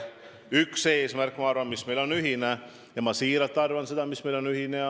Üks eesmärk, ma arvan, on meil ühine – ja ma siiralt arvan, et see on meil ühine.